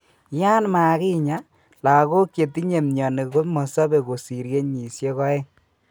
Yan kamakinyaa, lagok chetinye myoni komosobe kosir kenyisiek oeng